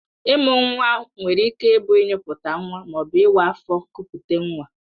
Ịmụ nwa nwere ike ịbụ ịnyịputa nwa ma ọ bụ ịwa afọ kupute nwa